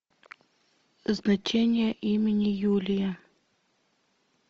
значение имени юлия